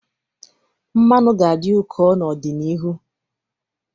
Mmanụ ga-adị ụkọ n'ọdịnihu.